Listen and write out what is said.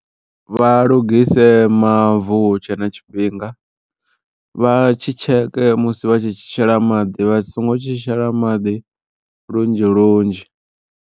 Vha lungise mavu hutshe na tshifhinga vha tshi tsheke musi vha tshi tshi shela maḓi vha songo tshi shela maḓi lunzhi lunzhi.